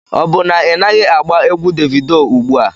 Ọ bụ na ị naghị agba egwu Devido ugbu a?